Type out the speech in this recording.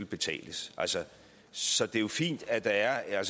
betales så det er jo fint at der er